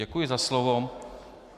Děkuji za slovo.